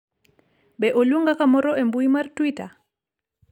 be oluonga kamoro e mbui mar twita